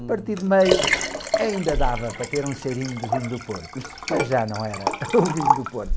A partir de meio ainda dava para ter um cheirinho de vinho do Porto, mas já não era o vinho do Porto.